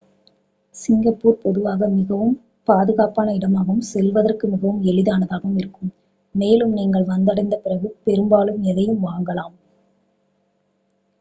Singapore பொதுவாக மிகவும் பாதுகாப்பான இடமாகவும் செல்வதற்கு மிகவும் எளிதானதாகவும் இருக்கும் மேலும் நீங்கள் வந்தடைந்த பிறகு பெரும்பாலும் எதையும் வாங்கலாம்